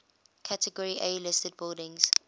category a listed buildings